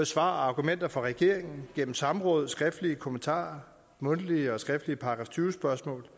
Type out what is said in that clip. svar og argumenter fra regeringen og gennem samråd skriftlige kommentarer og mundtlige og skriftlige § tyve spørgsmål